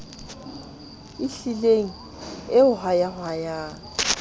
e hlileng e o hwayahwayang